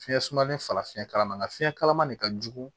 Fiɲɛ sumalen falen ma nka fiɲɛ kalama de ka jugu